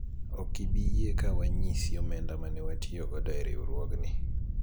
ok ibi yie ka wanyisi omenda mane watiyo godo e riwruogni